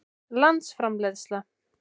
landsframleiðsla